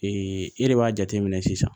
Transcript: e de b'a jateminɛ sisan